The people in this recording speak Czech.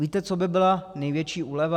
Víte, co by byla největší úleva?